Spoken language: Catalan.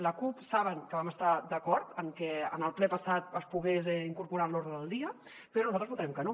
la cup saben que vam estar d’acord amb que en el ple passat es pogués incorporar en l’ordre del dia però nosaltres votarem que no